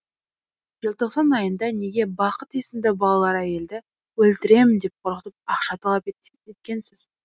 желтоқсан айында неге бақыт есімді балалы әйелді өлтіремін деп қорқытып ақша талап еткенсіз